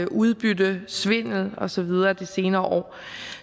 udbyttesvindel og så videre de senere år